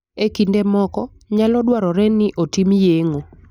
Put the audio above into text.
E kinde moko, nyalo dwarore ni otim yeng'o.